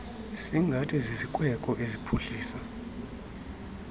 singathi zizikweko eziphuhlisa